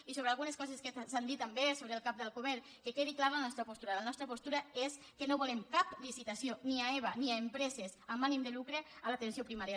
i sobre algunes coses que s’han dit també sobre el cap d’alcover que quedi clara la nostra postura la nostra postura és que no volem cap licitació ni a eba ni a empreses amb ànim de lucre a l’atenció primària